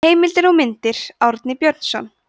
heimildir og myndir árni björnsson